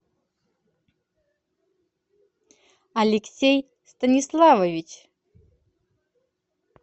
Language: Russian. алексей станиславович